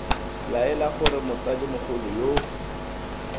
laela gore motsadi mogolo yo